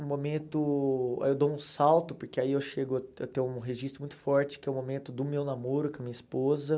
Um momento... Eu dou um salto, porque aí eu chego a a ter um registro muito forte, que é o momento do meu namoro com a minha esposa.